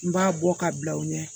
N b'a bɔ ka bila u ɲɛ